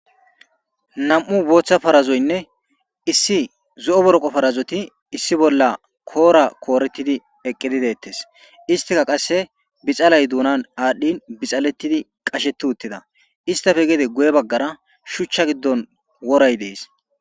Nam'u bootha parazoyinne Issi zo'o boroqo parazoti issi bolla koora kooretid Eqid detese, istika qase bixalay duunan adhin bixaletid qasheti utida,iistappe gede guye bagara shucha giddon woray Desi.